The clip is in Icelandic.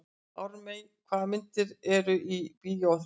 Ármey, hvaða myndir eru í bíó á þriðjudaginn?